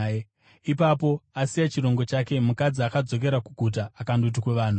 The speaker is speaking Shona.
Ipapo, asiya chirongo chake, mukadzi akadzokera kuguta akandoti kuvanhu,